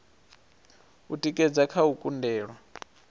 u tikedza kha u kundelwa